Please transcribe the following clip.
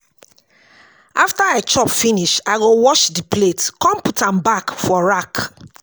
after I chop finish, I go wash di plate con put am back for rack